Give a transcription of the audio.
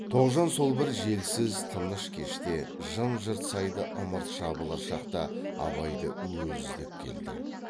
тоғжан сол бір желсіз тыныш кеште жым жырт сайда ымырт жабылар шақта абайды өзі іздеп келді